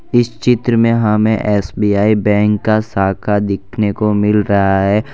इस चित्र में हमें एस_बी_आई बैंक का शाखा देखने को मिल रहा है।